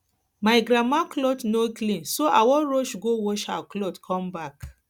my grandma cloth no clean so i wan rush go wash her cloth come her cloth come back